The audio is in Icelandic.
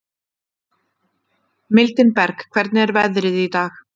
Mildinberg, hvernig er veðrið í dag?